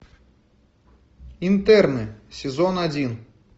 интерны сезон один